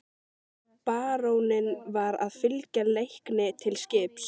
Baróninn var að fylgja Leikni til skips.